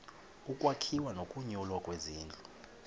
ukwakhiwa nokunyulwa kwezindlu